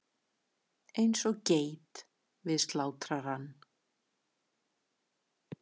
Eins og geit við slátrarann.